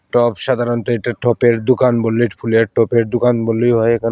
টব সাধারণত এটা টপের দোকান বোল্লিট ফুলের টপের দোকান বললেই হয় এখানে।